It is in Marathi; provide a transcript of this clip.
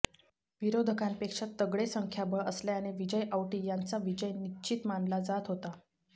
विरोधकांपेक्षा तगडे संख्याबळ असल्याने विजय औटी यांचा विजय निश्चित मानला जात होता